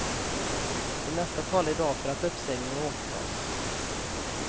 Det mesta talar i dag för att uppsägningen återtas.